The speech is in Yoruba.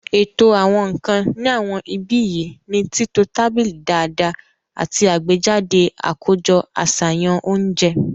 Ètò àwọn nǹkan ní àwọn ibi yìí ni títọ tábìlì dáadáa àti àgbéjáde àkójọ àṣàyàn oúnjẹ